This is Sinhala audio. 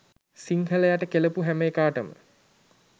සිංහලයට කෙලපු හැම එකාටම